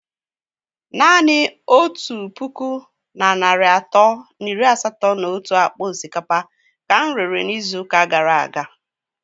Naanị otu puku na narị atọ na iri asatọ na otu akpa osikapa ka m rere n'izu ụka gara aga.